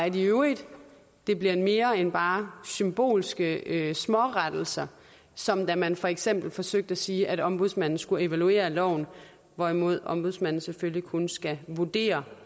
i øvrigt bliver mere end bare symbolske smårettelser som da man for eksempel forsøgte at sige at ombudsmanden skulle evaluere loven hvorimod ombudsmanden selvfølgelig kun skal vurdere